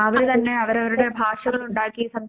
അതെ.